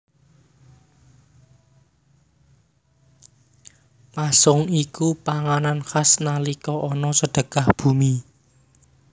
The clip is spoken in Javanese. Pasung iku panganan khas nalika ana Sedekah Bumi